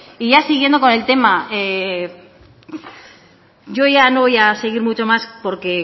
y ya siguiendo con el tema yo ya no voy a seguir mucho más porque